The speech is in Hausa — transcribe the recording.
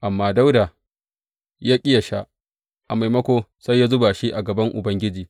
Amma Dawuda ya ƙi yă sha; a maimako sai ya zuba shi a gaban Ubangiji.